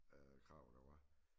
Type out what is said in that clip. Øh krav der var